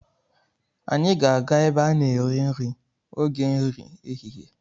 Anyị ga-aga ebe a na-eri nri oge nri ehihie.